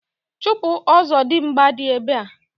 Chupu Ọzọdimgba di ebe a.